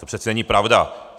To přece není pravda.